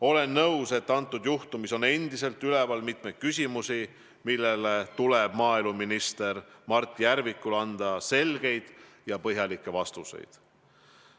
Olen nõus, et kõnealuses juhtumis on endiselt üleval mitmeid küsimusi, millele maaeluminister Mart Järvikul tuleb anda selged ja põhjalikud vastused.